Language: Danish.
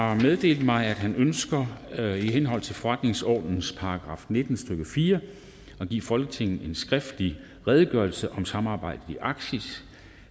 har meddelt mig at han ønsker i henhold til forretningsordenens § nitten stykke fire at give folketinget en skriftlig redegørelse om samarbejdet i arktis